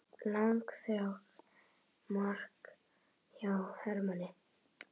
Langþráð mark hjá Hermanni